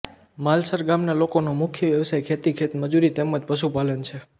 માલસર ગામના લોકોનો મુખ્ય વ્યવસાય ખેતી ખેતમજૂરી તેમ જ પશુપાલન છે